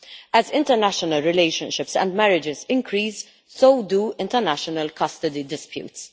As international relationships and marriages increase, so do international custody disputes.